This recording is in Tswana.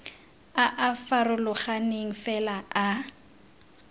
a a farologaneng fela a